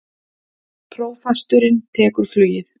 Prófasturinn tekur flugið